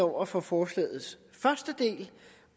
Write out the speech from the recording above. over for forslagets første del